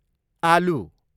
आलु